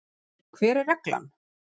Hver er reglan?